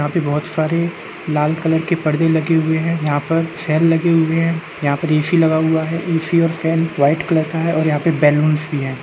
यहाँ पर बहुत सारे लाल कलर के पर्दे लगे हुए हैं। यहाँ पर चेयर लगे हुए हैं। यहाँ पर ए.सी लगा हुआ है। ए.सी और शेन व्हाइट कलर का है और यहाँ पर बालूनस भी हैं।